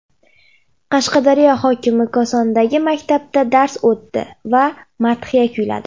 Qashqadaryo hokimi Kosondagi maktabda dars o‘tdi va madhiya kuyladi.